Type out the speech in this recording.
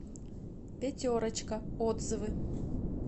пятерочка отзывы